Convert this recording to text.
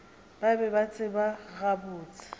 ba be ba tseba gabotse